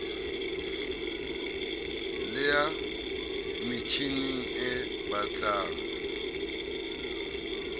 le ya metjhining e betlang